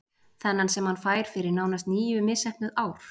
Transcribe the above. Þennan sem hann fær fyrir nánast níu misheppnuð ár?